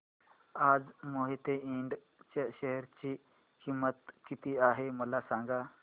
आज मोहिते इंड च्या शेअर ची किंमत किती आहे मला सांगा